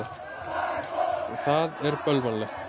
Og það er bölvanlegt.